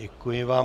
Děkuji vám.